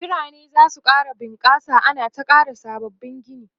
biranai zasu ƙara bunƙasa ana ta ƙara sabbabin Gini